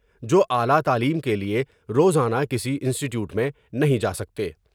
جو اعلی تعلیم کے لئے روز آنہ کسی انسٹیٹیوٹ میں نہیں جا سکتے ۔